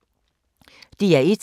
DR1